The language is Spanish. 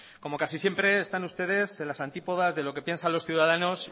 como casi siempre están ustedes en las antípodas y de lo que piensan los ciudadanos